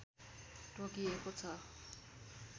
तोकिएको छ